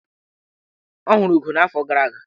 Ọ hụrụ ugo n'afọ gara aga.